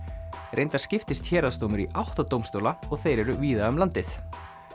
reyndar skiptist héraðsdómur í átta dómstóla og þeir eru víða um landið